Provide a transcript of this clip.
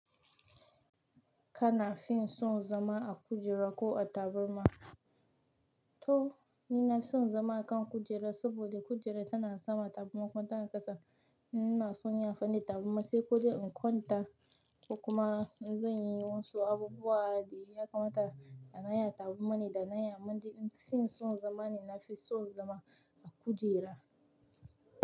Kan fin son zama a kujera ko a tabarma? To ni nafi son zama akan kujera, saboda kujera tana sama tabarma kuma tana ƙasa. Ni ina son yin amfani da tabarma, sai ko dai in kwanta, ko kuma in zanyi wasu abubuwa, da ya kamata da na yi a tabarma ne, da na yi. Amma dai in fin son zama ni na fi son zama a kujera.